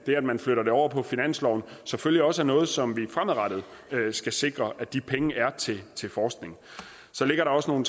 det at man flytter det over på finansloven selvfølgelig også er noget som vi fremadrettet skal sikre at de penge er til forskning så ligger der også nogle